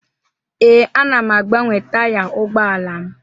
Ee, ana m agbanwe taya ụgbọala m.